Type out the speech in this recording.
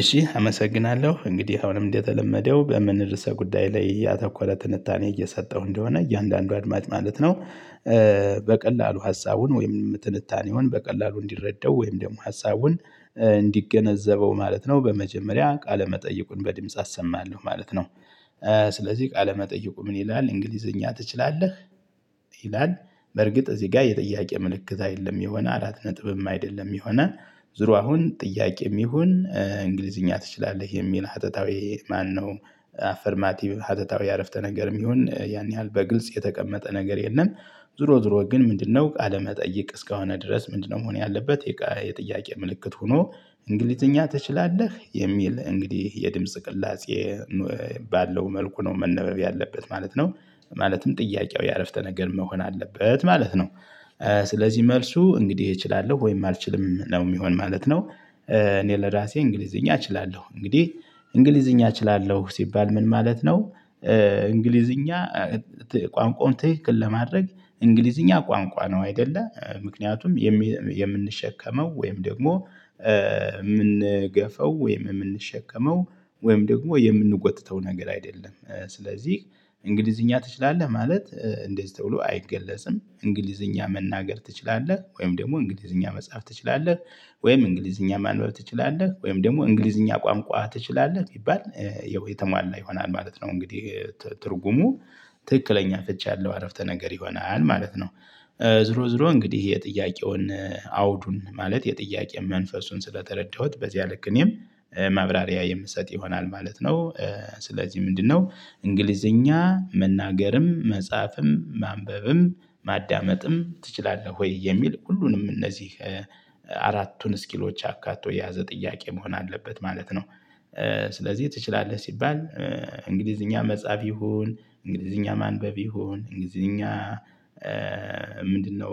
እሺ አመሰግናለሁ እንግዲህ አሁንም እንደተለመደው በምን ርዕሰ ጉዳይ ላይ ያተኮረ ትንታኔ እየሰጠሁ እንደሆነ እያንዳንዱ አድማጭ ማለት ነው። በቀላሉ ሀሳቡን ወይም ትንታኔውን በቀላሉ እንዲረዳው ወይም ደግሞ ሀሳቡን እንዲገነዘበው ማለት ነው። በመጀመሪያ ቃለ መጠይቁን በድምጽ አሰማለሁ ማለት ነው። ስለዚህ ቃለመጠይቁ ምን ይላል እንግሊዘኛ ትችላለህ? ይላል በርግጥ እዚህ ጋር የጥያቄ ምልክት አይደለም የሆነ አላት ነጥብም አይደለም የሆነ። ዙሩ አሁን ጥያቄም ይሁን እንግሊዝኛ ትችላለህ የሚል ሀተታዊ ማነው? አፈርማቲቭ ሀተታዊ አረፍተ ነገርም ይሁን ያን ያህል በግልጽ የተቀመጠ ነገር የለም። ዙሮ ዙሮ ግን ምንድነው ቃለመጠየቅ እስከሆነ ድረስ ምንድነው መሆን ያለበት የጥያቄ ምልክት ሆኖ? እንግሊዘኛ ትችላለህ የሚል እንግዲህ የድምጽ ቅላጼ ባለው መልኩ ነው መነበብ ያለበት ማለት ነው። ማለትም ጥያቄው የአረፍተ ነገር መሆን አለበት ማለት ነው። ስለዚህ መልሱ እንግዲህ እችላለሁ ወይም አልችልም ነው የሚሆን ማለት ነው። እኔ ለራሴ እንግሊዝኛ እችላለሁ እንግዲህ እንግሊዝኛ እችላለሁ ሲባል ምን ማለት ነው? እንግሊዝኛ ቋንቋውን ትክክል ለማድረግ እንግሊዝኛ ቋንቋ ነው አይደለ ምክንያቱም። የምንሸከመው ወይም ደግሞ የምንገፈው ወይም የምንሸከመው ወይም ደግሞ የምንጎትተው ነገር አይደለም። ስለዚህ እንግሊዝኛ ትችላለህ ማለት እንደዚህ ተብሎ አይገለጽም እንግሊዝኛ መናገር ትችላለህ ወይም ደግሞ እንግሊዝኛ መጽሐፍ ትችላለህ? ወይም እንግሊዝኛ ማንበብ ትችላለህ ወይም ደግሞ እንግሊዝኛ ቋንቋ ትችላለህ ቢባል የተሟላ ይሆናል ማለት ነው። እንግዲህ ትርጉሙ ትክክለኛ ፍቺ ያለው አረፍተ ነገር ይሆናል ማለት ነው። ዙሮ ዙሮ እንግዲህ የጥያቄውን አውዱን ማለት የጥያቄ መንፈሱን ስለተረዳሁት በዚያ ልክ እኔም ማብራሪያ የምሰጥ ይሆናል ማለት ነው። ስለዚህ ምንድነው? እንግሊዘኛ መናገርም መጻፍም ማንበብም ማዳመጥም ትችላለህ ወይ የሚል ሁሉንም እነዚህ አራቱን ስኪሎች አካቶ የያዘ ጥያቄ መሆን አለበት ማለት ነው። ስለዚህ ትችላለህ ሲባል እንግሊዝኛ መጻፍ ይሁን እንግሊዝኛ ማንበብ ይሁን እንግሊዝኛ ምንድነው